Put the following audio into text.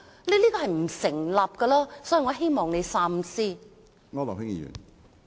這是不成立的，我希望你三思。